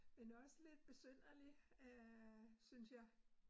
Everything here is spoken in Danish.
Men også lidt besynderlig øh synes jeg